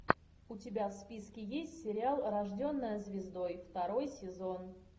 у тебя в списке есть сериал рожденная звездой второй сезон